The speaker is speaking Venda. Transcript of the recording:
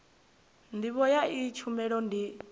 ndivho ya iyi tshumelo ndi